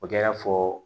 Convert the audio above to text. O kɛ fɔ